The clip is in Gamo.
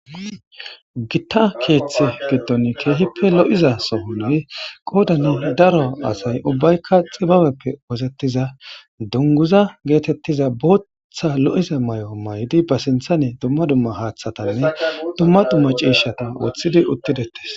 Gitta keeththi giddon keehippe lo'iza somonay qoodani daro asay ubbaykka xibabeppe wosettiza dunguza geetettiza bootththa lo'iza may'o may'di ba sintha ne dumma dumma haaththatanne dumma dumma cieshata woththidi uttidetes.